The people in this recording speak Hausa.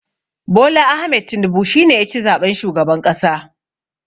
Bola Ahmed Tinibu shi ne ya ci zaɓen shugaban ƙasa.